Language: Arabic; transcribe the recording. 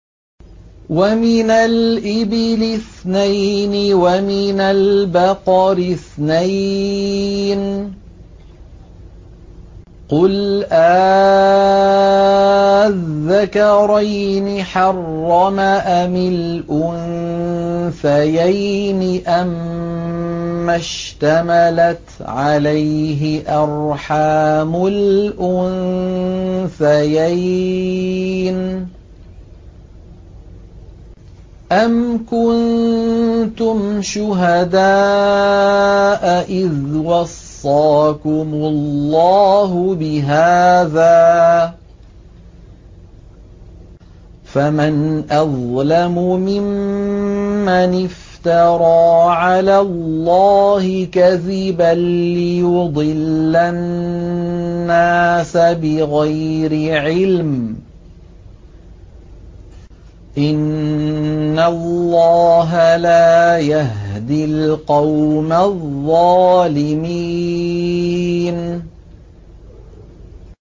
وَمِنَ الْإِبِلِ اثْنَيْنِ وَمِنَ الْبَقَرِ اثْنَيْنِ ۗ قُلْ آلذَّكَرَيْنِ حَرَّمَ أَمِ الْأُنثَيَيْنِ أَمَّا اشْتَمَلَتْ عَلَيْهِ أَرْحَامُ الْأُنثَيَيْنِ ۖ أَمْ كُنتُمْ شُهَدَاءَ إِذْ وَصَّاكُمُ اللَّهُ بِهَٰذَا ۚ فَمَنْ أَظْلَمُ مِمَّنِ افْتَرَىٰ عَلَى اللَّهِ كَذِبًا لِّيُضِلَّ النَّاسَ بِغَيْرِ عِلْمٍ ۗ إِنَّ اللَّهَ لَا يَهْدِي الْقَوْمَ الظَّالِمِينَ